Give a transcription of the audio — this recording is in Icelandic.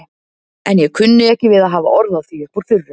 En ég kunni ekki við að hafa orð á því upp úr þurru.